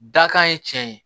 Dakan ye cɛn ye